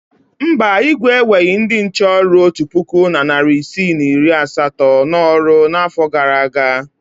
Mba, Igwe eweghi ndị nche ọrụ otu puku na narị isii na iri asatọ n’ọrụ n’afọ gara aga.